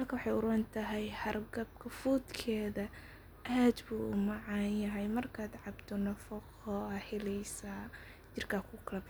halka maxay urontahay hergebka fudkeda aad buu umacanyahay markad cabto nafaqo ayad heleysa jirka kukalabaxa.